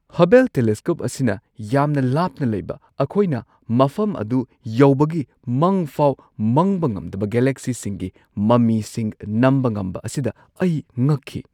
Hubble telescope ꯑꯁꯤꯅ ꯌꯥꯝꯅ ꯂꯥꯞꯅ ꯂꯩꯕ ꯑꯩꯈꯣꯏꯅ ꯃꯐꯝ ꯑꯗꯨ ꯌꯧꯕꯒꯤ ꯃꯪꯐꯥꯎ ꯃꯪꯕ ꯉꯝꯗꯕ ꯒꯦꯂꯦꯛꯁꯤꯁꯤꯡꯒꯤ ꯃꯃꯤꯁꯤꯡ ꯅꯝꯕ ꯉꯝꯕ ꯑꯁꯤꯗ ꯑꯩ ꯉꯛꯈꯤ꯫